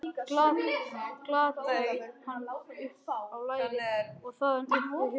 Galdraði hann upp á lærið og þaðan upp fyrir höfuðið.